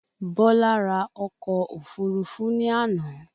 Bọlá ra ọkọ̀ òfúrufú ní àná